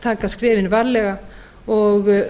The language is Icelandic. taka skrefin varlega og